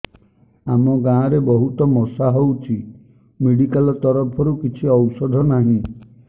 ଆମ ଗାଁ ରେ ବହୁତ ମଶା ହଉଚି ମେଡିକାଲ ତରଫରୁ କିଛି ଔଷଧ ନାହିଁ